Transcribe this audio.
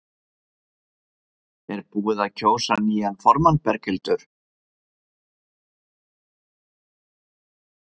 Er búið að kjósa nýjan formann Berghildur?